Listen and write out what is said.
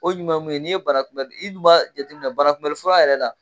O ɲuman ye mun ye n'i ye barakunbɛd i d b'a jateminɛ barakunbɛli fura yɛrɛ la